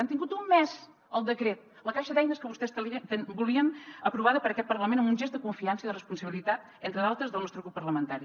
han tingut un mes el decret la caixa d’eines que vostès volien aprovada per aquest parlament amb un gest de confiança i de responsabilitat entre d’altres del nostre grup parlamentari